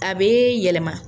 A bɛ'yɛlɛma.